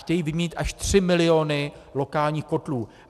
Chtějí vyměnit až 3 miliony lokálních kotlů.